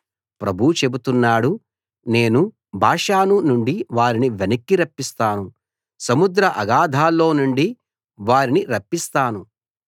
ప్రభువు చెబుతున్నాడు నేను బాషాను నుండి వారిని వెనక్కి రప్పిస్తాను సముద్ర అగాధాల్లో నుండి వారిని రప్పిస్తాను